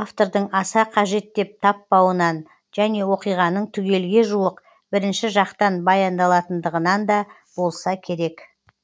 автордың аса қажет деп таппауынан және оқиғаның түгелге жуық бірінші жақтан баяндалатыныдығынан да болса керек